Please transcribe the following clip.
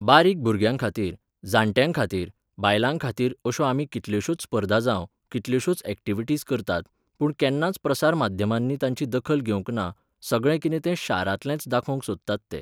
बारीक भुरग्यांखातीर, जाणट्यांखातीर, बायलांखातीर अश्यो आमी कितल्योशोच स्पर्धा जावं, कितल्योशोच ऍक्टिविटिज करतात, पूण केन्नाच प्रसार माध्यमांनी तांची दखल घेवंक ना, सगळें कितें तें शारांतलेंच दाखोवंक सोदतात ते.